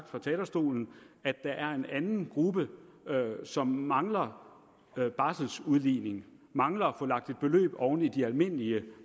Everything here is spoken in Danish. fra talerstolen at der er en anden gruppe som mangler barseludligning mangler at få lagt et beløb oven i de almindelige